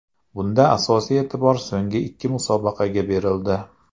Bunda asosiy e’tibor so‘nggi ikki musobaqaga berildi.